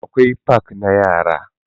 Akwai fak na yara.